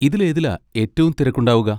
ഇതിലേതിലാ ഏറ്റവും തിരക്കുണ്ടാവുക?